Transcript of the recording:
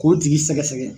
K'o tigi sɛgɛsɛgɛ